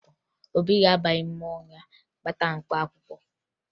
Obi ga-aba n'ime ọhịa kpata mkpaakwụkwọ